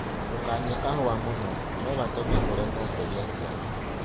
Ndũkananyue kahũa mũno; no gatũme ũremwo kũgĩa ciana.